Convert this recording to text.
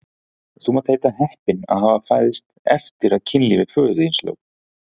Þú mátt heita heppinn að hafa fæðst eftir að kynlífi föður þíns lauk!